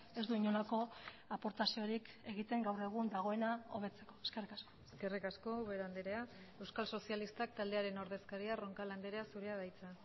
ez du inolako aportaziorik egiten gaur egun dagoena hobetzeko eskerrik asko eskerrik asko ubera andrea euskal sozialistak taldearen ordezkaria roncal andrea zurea da hitza